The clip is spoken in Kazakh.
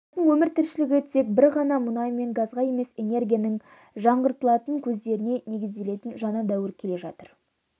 адамзаттың өмір тіршілігі тек бір ғана мұнай мен газға емес энергияның жаңғыртылатын көздеріне негізделетін жаңа дәуір келе жатыр